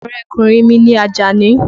Ọ̀rẹ́kùnrin mi ni Àjàní.